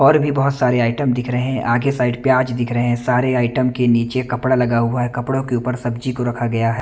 और भी बहोत सारे आइटम दिख रहे हैं आगे साईइड प्याज़ दिख रहे हैं सारे आइटम के निचे कपड़ा लगा हुआ है कपड़ो के ऊपर सब्जी को रखा गया है।